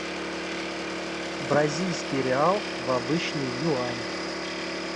бразильский реал в обычный юань